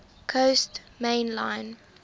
coast main line